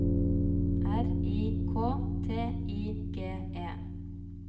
R I K T I G E